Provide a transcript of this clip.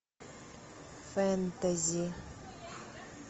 фэнтези